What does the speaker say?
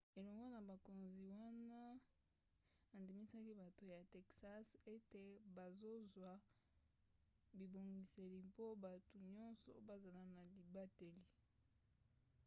elongo na bakonzi wana andimisaki bato ya texas ete bazozwa bibongiseli mpo bato nyonso bazala na libateli